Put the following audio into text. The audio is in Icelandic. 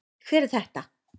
Hver er þetta?